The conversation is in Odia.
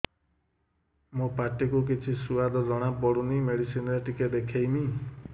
ମୋ ପାଟି କୁ କିଛି ସୁଆଦ ଜଣାପଡ଼ୁନି ମେଡିସିନ ରେ ଟିକେ ଦେଖେଇମି